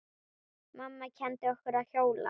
Mamma kenndi okkur að hjóla.